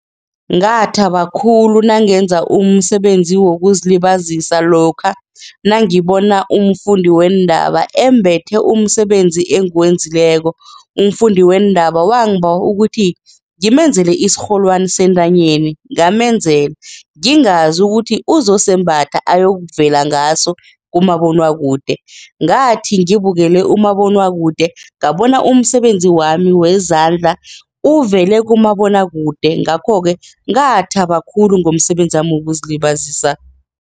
Ngathaba khulu nangenza umsebenzi wokuzilibazisa lokha nangibona umfundi weendaba embethe umsebenzi engiwenzileko, umfundi weendaba wangibawa ukuthi ngimenzele isirholwani sentanyeni ngamenzela ngingazi ukuthi uzosembatha ayokuvea ngaso kumabonwakude, ngathi ngibukele umabonwakude ngabona umsebenzi wami wezandla uvele kumabonwakude ngakho-ke ngathaba khulu ngomsebenzi wami wokuzilibazisa.